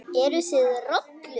Eruð þið rollur?